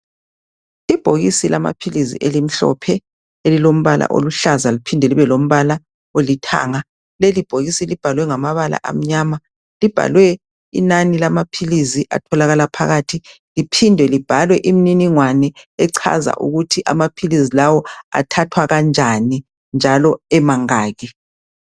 Ibhokisi lamaphilisi elimhlophe elilombala oluhlaza liphinde libe lombala olithanga. Leli bhokisi libhalwe ngamabala amnyama libhalwe inani lamaphilisi atholakala phakathi .Liphinde libhalwe imniningwana echaza ukuthi amaphilisi lawo athathwa kanjani njalo emangaki .